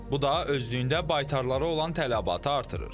Bu da özlüyündə baytarlara olan tələbatı artırır.